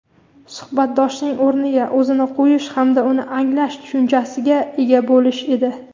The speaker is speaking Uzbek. suhbatdoshining o‘rniga o‘zini qo‘yish hamda uni anglash tushunchasiga ega bo‘lish edi.